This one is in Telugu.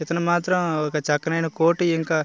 ఇతను మాత్రం ఒక చక్కనైన కోటు ఇంకా --